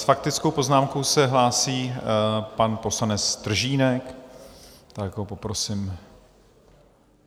S faktickou poznámkou se hlásí pan poslanec Stržínek, tak ho poprosím.